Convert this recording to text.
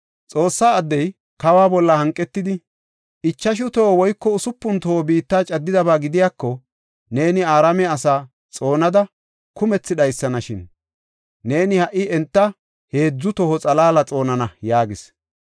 Xoossa addey, kawa bolla hanqetidi, “Ichashu toho woyko usupun toho biitta caddidaba gidiyako, neeni Araame asaa xoonada kumethi dhaysanashin! Neeni ha77i enta heedzu toho xalaala xoonana” yaagis.